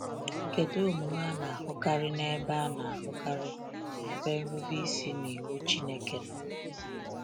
Kedu omume a na-ahụkarị n’ebe a na-ahụkarị n’ebe nrube isi n’iwu Chineke nọ?